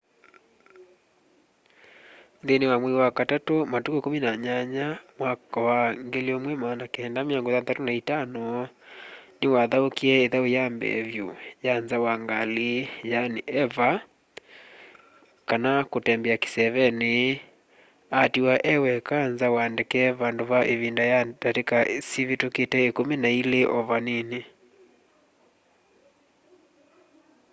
nthĩnĩ wa mwai wa katatũ matukũ 18 1965 nĩwathaũkie ĩthau ya mbee vyũ ya nza wa ngalĩ eva kana kutembea kĩsevenĩ” atiwa e weka nza wa ndeke vandũ va ĩvinda ya ndatĩka sivĩtũkĩte ĩkumi na ilĩ o vanini